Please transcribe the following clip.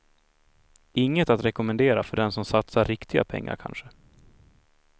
Inget att rekomendera för den som satsar riktiga pengar kanske.